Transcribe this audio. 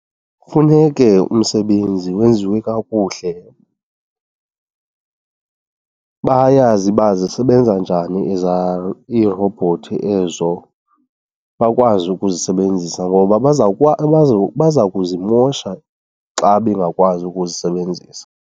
Funeke umsebenzi wenziwe kakuhle , bayazi uba zisebenza njani irobhothi ezo, bakwazi ukuzisebenzisa. Ngoba baza kuzimosha xa bengakwazi ukuzisebenzisa.